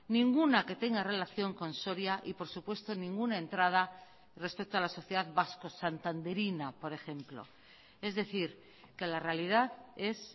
ninguna que tenga relación con soria y por supuesto ninguna entrada respecto a la sociedad vasco santanderina por ejemplo es decir que la realidad es